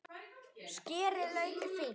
Skerið laukinn fínt.